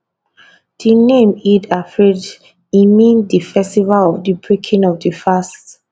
di name eid alfitr e mean di festival of di breaking of di fast